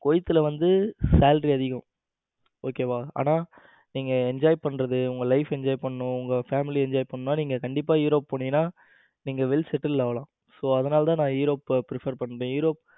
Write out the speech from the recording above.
குவைத்தில வந்து salary அதிகம். okay வா ஆனா நீங்க enjoy பண்றது உங்க life enjoy பண்ணனும் உங்க family enjoy பண்ணு நீங்க கண்டிப்பா europe போனீங்கன்னா உங்க life settle ஆகலாம். so அதனால தான் அதனாலதான் europe prefer பண்றேன்.